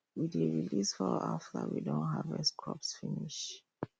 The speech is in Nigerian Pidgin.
we dey release fowl after we don harvest crops finish